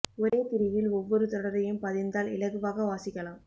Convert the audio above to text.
ஒரே திரியில் ஒவ்வொரு தொடரையும் பதிந்தால் இலகுவாக வாசிக்கலாம்